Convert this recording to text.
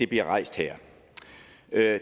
bliver rejst her